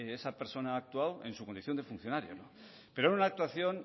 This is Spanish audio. esa persona ha actuado en su condición de funcionario pero en una actuación